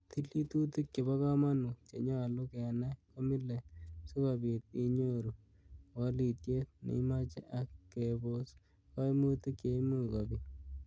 Tilitutik chebon komonut, konyolu kenai komie sikobit inyoru wolitiet neimoche ak kebos koimutik cheimuch kobit.